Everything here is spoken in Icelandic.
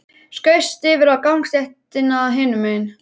Skaust yfir á gangstéttina hinum megin.